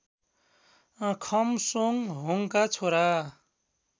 खम्सोङहोङका छोरा